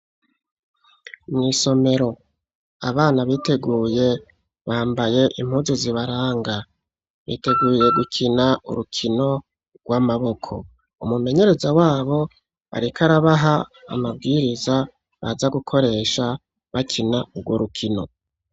Mw' isomero. Abana biteguye, bambaye impuzu zibaranga. Biteguye gukina urukino rw' amaboko. Umumenyereza wabo, ariko arabaha amabwiriza baza gukoresha bakina urwo rukino.